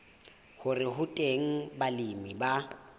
hore ho teng balemi ba